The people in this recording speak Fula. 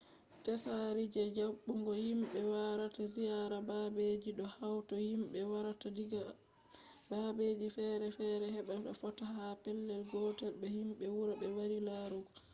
tsari je jaɓɓugo himɓe warata ziyara babeji ɗo hauta himɓe warata diga babeji fere fere heɓa ɓe fotta ha pellel gotel be himɓe wuro ɓe wari larugo